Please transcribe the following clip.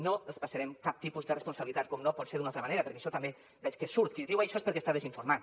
no els passarem cap tipus de responsabilitat com no pot ser d’una altra manera perquè això també veig que surt qui diu això és que està desinformat